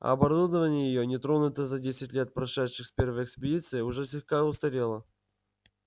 оборудование её не тронутое за десять лет прошедших с первой экспедиции уже слегка устарело